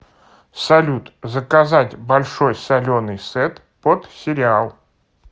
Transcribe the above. салют заказать большой соленый сет под сериал